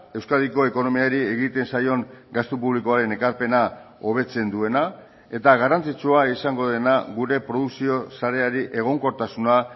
euskadiko ekonomiari egiten zaion gastu publikoaren ekarpena hobetzen duena eta garrantzitsua izango dena gure produkzio sareari egonkortasuna